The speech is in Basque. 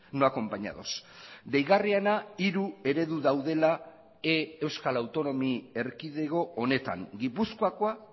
no acompañados deigarriena hiru eredu daudela euskal autonomi erkidego honetan gipuzkoakoa